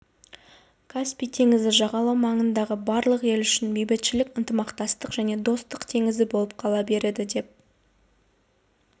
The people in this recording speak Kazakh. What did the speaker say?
каспий теңізі жағалау маңындағы барлық ел үшін бейбітшілік ынтымақтастық пен достық теңізі болып қала береді деп